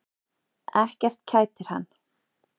Ekkert kætir hann.